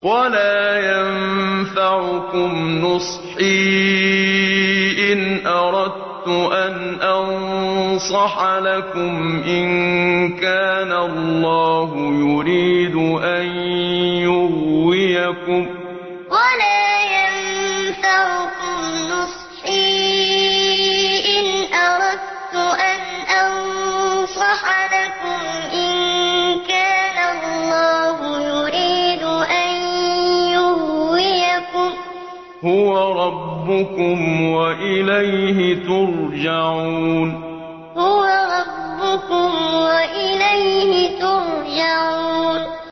وَلَا يَنفَعُكُمْ نُصْحِي إِنْ أَرَدتُّ أَنْ أَنصَحَ لَكُمْ إِن كَانَ اللَّهُ يُرِيدُ أَن يُغْوِيَكُمْ ۚ هُوَ رَبُّكُمْ وَإِلَيْهِ تُرْجَعُونَ وَلَا يَنفَعُكُمْ نُصْحِي إِنْ أَرَدتُّ أَنْ أَنصَحَ لَكُمْ إِن كَانَ اللَّهُ يُرِيدُ أَن يُغْوِيَكُمْ ۚ هُوَ رَبُّكُمْ وَإِلَيْهِ تُرْجَعُونَ